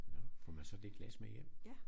Nåh får man så det glas med hjem?